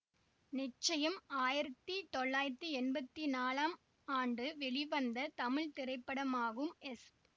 நிச்சயம் ஆயிரத்தி தொள்ளாயிரத்தி எம்பத்தி நாலாம் ஆண்டு வெளிவந்த தமிழ் திரைப்படமாகும் எஸ்